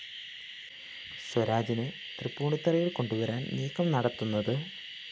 സ്വാരജിനെ തൃപ്പൂണിത്തുറയില്‍ കൊണ്ടുവരാന്‍ നീക്കം നടത്തുന്നത്